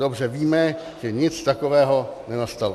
Dobře víme, že nic takového nenastalo.